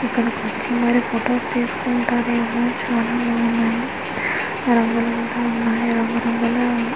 ఇక్కడికి వచ్చి మరి ఫోటోస్ తీసుకుంటారు ఏమో చాలా బాగున్నాయి .